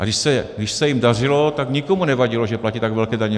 A když se jim dařilo, tak nikomu nevadilo, že platí tak velké daně.